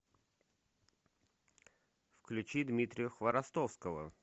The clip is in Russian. включи дмитрия хворостовского